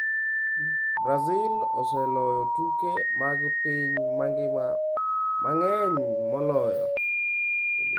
Brazil oseloyo tuke mag piny mangima mang’eny moloyo.